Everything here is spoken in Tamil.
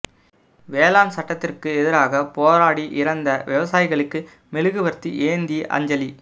வேளாண் சட்டத்திற்கு எதிராக போராடி இறந்த விவசாயிகளுக்கு மெழுகுவா்த்தி ஏந்தி அஞ்சலி